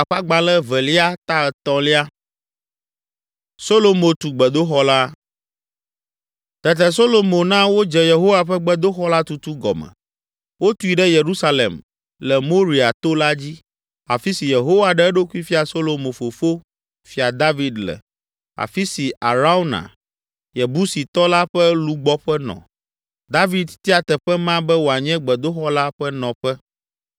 Tete Solomo na wodze Yehowa ƒe gbedoxɔ la tutu gɔme. Wotui ɖe Yerusalem, le Moria to la dzi, afi si Yehowa ɖe eɖokui fia Solomo fofo, Fia David le, afi si Arauna, Yebusitɔ la ƒe lugbɔƒe nɔ. David tia teƒe ma be wòanye gbedoxɔ la ƒe nɔƒe.